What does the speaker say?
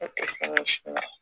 I tɛ